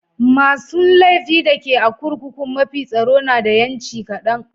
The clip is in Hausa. Masun laifi da ke a'kurkukun mafi tsaro na da yanci kadan.